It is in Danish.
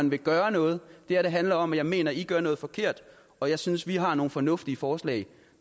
vil gøre noget det handler om at jeg mener at i gør noget forkert og jeg synes vi har nogle fornuftige forslag